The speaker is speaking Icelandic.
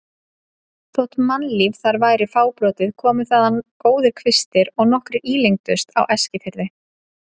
Þótt mannlíf þar væri fábrotið komu þaðan góðir kvistir og nokkrir ílengdust á Eskifirði.